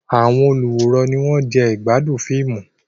Àwọn olùwòran ni wọ́n ń jẹ ìgbádùn fíìmù.